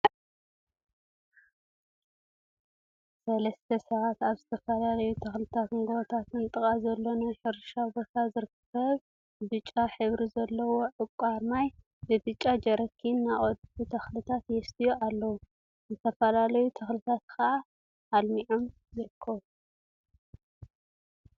ሰለስተ ሰባት አበ ዝተፈላለዩ ተክሊትን ጎቦታትነ ጥቃ ዘሎ ናይ ሕርሻ ቦታ ዝርከብ ብጫ ሕብሪ ዘለዎ ዕቋር ማይ ብብጫ ጀሪካን እናቀድሑ ተክሊታት የስትዩ አለው፡፡ ዝተፈላለዩ ተክሊታት ከዓ አልሚዖም ይርከቡ፡፡